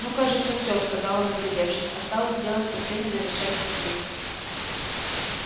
ну кажется все сказал он оглядевшись осталось сделать последний завершающий штрих